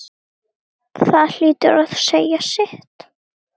Margt gerst.